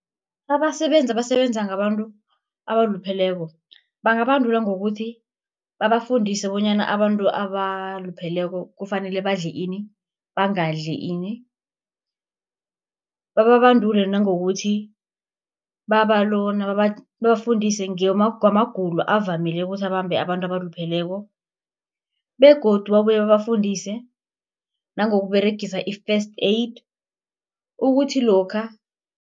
Abasebenzi abasebenza ngabantu abalupheleko, bangabandulwa ngokuthi babafundise bonyana abantu abalupheleko kufanele badle ini, bangadli ini. Bababandule nangokuthi babafundise ngamagulo avamileko ukuthi abambe abantu abalupheleko, begodu babuye babafundise nangokUberegisa i-First Aid, ukuthi lokha